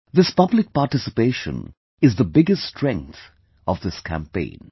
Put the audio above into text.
This public participation is the biggest strength of this campaign